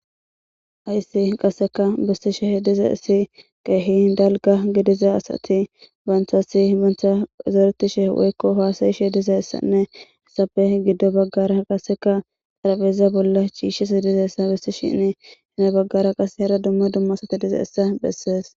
Hayssi qasseka bissisheh diza issi qeehi dalga gidiza asati baanthasi bantha zaretishe woykko haasayishe dizayssanne esafe giddo baggara qaseka xarabeza bolla chiishshes dizayessa bissishinni hina baggara qase hera dumma dumma asati diza hissa bessees.